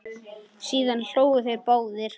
Síðan hlógu þeir báðir.